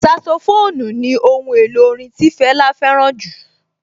Saxophone ni ohun èlò orin tí Fẹlá fẹ́ràn jù